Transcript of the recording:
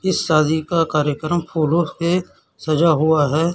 इस शादी का कार्यक्रम फूलों से सजा हुआ है।